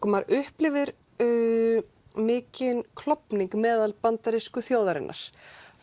maður upplifir mikinn klofning meðal bandarísku þjóðarinnar